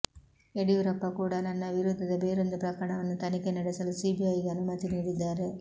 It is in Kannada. ಯಡಿಯೂರಪ್ಪ ಕೂಡ ನನ್ನ ವಿರುದ್ಧದ ಬೇರೊಂದು ಪ್ರಕರಣವನ್ನು ತನಿಖೆ ನಡೆಸಲು ಸಿಬಿಐಗೆ ಅನುಮತಿ ನೀಡಿದ್ದಾರೆ